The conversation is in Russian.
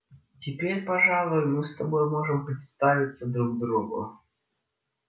теперь пожалуй мы с тобой можем представиться друг другу